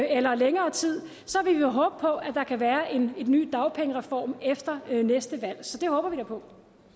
eller længere tid så vil vi håbe på at der kan være en ny dagpengereform efter næste valg så det håber vi da på